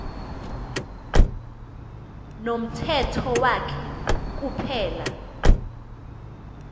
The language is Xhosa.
nomthetho wakhe kuphela